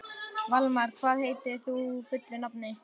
Valmar, hvað heitir þú fullu nafni?